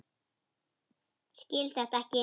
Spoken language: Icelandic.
Skil þetta ekki.